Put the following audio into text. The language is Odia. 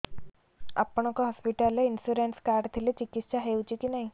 ଆପଣଙ୍କ ହସ୍ପିଟାଲ ରେ ଇନ୍ସୁରାନ୍ସ କାର୍ଡ ଥିଲେ ଚିକିତ୍ସା ହେଉଛି କି ନାଇଁ